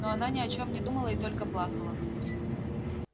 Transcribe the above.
но она ни о чем не думала и только плакала